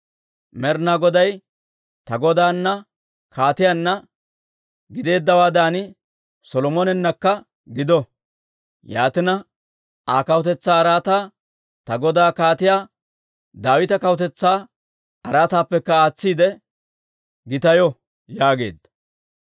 Med'inaa Goday ta godaana kaatiyaanna gideeddawaadan Solomonenakka gido; yaatina, Aa kawutetsaa araataa ta godaa Kaatiyaa Daawita kawutetsaa araataappekka aatsiide gitayo» yaageedda.